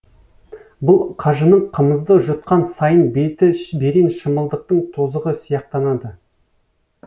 бұл қажының қымызды жұтқан сайын беті берен шымылдықтың тозығы сияқтанады